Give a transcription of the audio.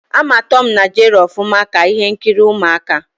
Ama Tọm na Jeri ọfụma, ka ihe nkiri ụmụaka